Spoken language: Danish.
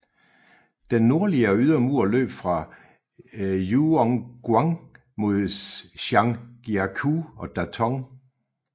Den nordligere ydre mur løb fra Juyongguan mod Zhangjiakou og Datong